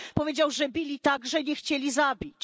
Powiedział, że bili tak, że nie chcieli zabić.